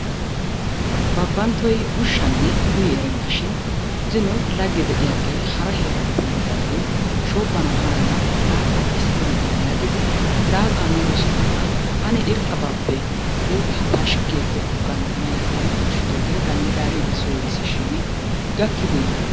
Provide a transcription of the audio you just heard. Babbanttoy ushshanne uyi erennashin zino laggee de'iyaagee hara heeraappe yiidaagee shoobbana haaya laaxaa issippe maana yaagidi laaxaa miido sohuwara ane irxxabaappe guuttaa pashkkigi ekkana yaagidi ushshidoogee ganddigaariiddi Soo yisishiini gakkideeyye?